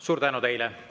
Suur tänu teile!